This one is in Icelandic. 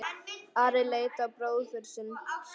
Ari leit á bróður sinn.